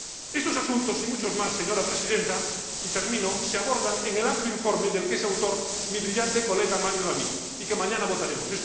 Estos asuntos y muchos más, señora Presidenta —y termino—, se abordan en el amplio informe del que es autor mi brillante colega Mário David, y que mañana votaremos.